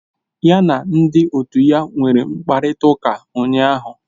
Ya na ndị otu ya nwere mkparịta ụka ụnyahụ